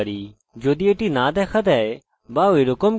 এটি refresh করি